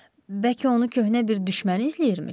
Bəlkə onu köhnə bir düşmən izləyirmiş?